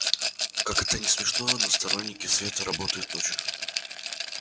как это ни смешно но сторонники света работают ночью